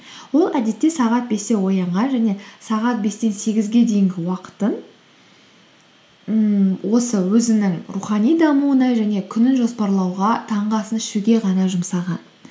ол әдетте сағат бесте оянған және сағат бестен сегізге дейінгі уақытын ммм осы өзінің рухани дамуына және күнін жоспарлауға таңғы асын ішуге ғана жұмсаған